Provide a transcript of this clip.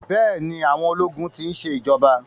Bẹ́ẹ̀ni, àwọn ológun ti ń ṣe ìjọba.